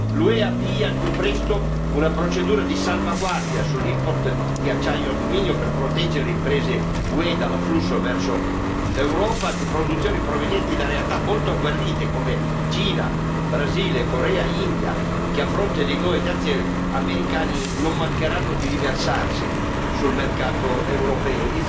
L'UE avvii al più presto una procedura di salvaguardia sull'import di acciaio e alluminio per proteggere le imprese UE dall'afflusso verso l'Europa di produzioni provenienti da realtà molto agguerrite come Cina, Brasile, Corea, India che, a fronte dei nuovi dazi americani, non mancheranno di riversarsi sul mercato europeo.